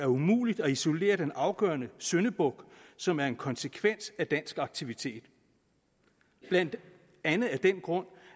umuligt at isolere den afgørende syndebuk som er en konsekvens af dansk aktivitet blandt andet af den grund